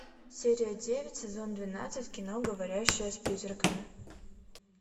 серия девять сезон двенадцать кино говорящая с призраками